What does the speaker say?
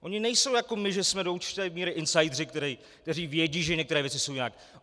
Oni nejsou jako my, že jsme do určité míry insideři, kteří vědí, že některé věci jsou nějak.